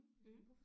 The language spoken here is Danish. Mh